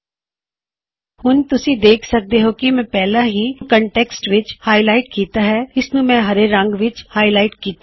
ਹੁਣ ਤੁਸੀਂ ਦੇਖ ਸਕਦੇ ਹੋਂ ਕੀ ਮੈਂ ਪਹਿਲਾ ਹੀ ਇਸ ਕੋਨਟੈੱਕਸਟ ਨੂੰ ਹਾਇਲਾਇਟ ਕਰ ਦਿੱਤਾ ਹੈ ਮੈਂ ਉਸਨੂੰ ਹਰੇ ਰੰਗ ਵਿੱਚ ਹਾਇਲਾਇਟ ਕਿੱਤਾ ਹੈ